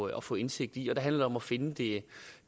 at få indsigt i og der handler det om at finde det